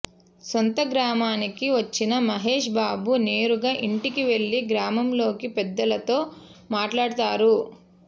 సొంతగ్రామానికి వచ్చిన మహేష్ బాబు నేరుగా ఇంటికి వెళ్లి గ్రామంలోకి పెద్దలతో మాట్లాడతారు